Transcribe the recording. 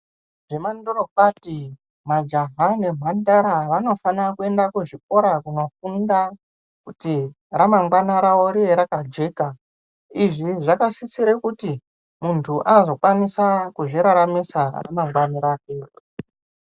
Zvemandorokwati majaha nemhandara vanofana kuenda kuzvikora kunofunda kuti ramangwana rawo rive rakajeka. Izvi zvakasisire kuti muntu azokwanisa kuzviraramisa ramangwani rake.